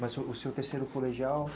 Mas o seu terceiro colegial?